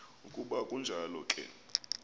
ukuba kunjalo ke